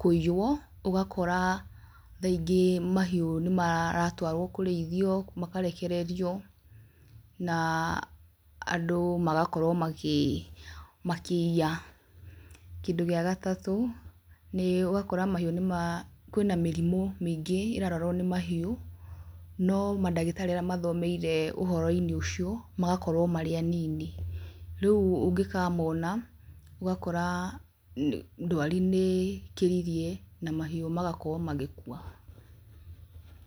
kũiywo ũgakora thaa ingĩ mahiũ nĩ maratwarwo kũrĩithio makarekererio na andũ magakorwo makĩiya, kĩndũ gĩa gatatũ nĩ ũgakora kwĩna mĩrimũ mĩingĩ ĩrarwarwo nĩ mahiũ ,no mandagĩtarĩ arĩa mathomeire ũhoro-ini ũcio magakorwo marĩ anini rĩu ũngĩkamona ũgakora ndwari nĩ ĩkĩririe na mahiũ magakorwo magĩkua.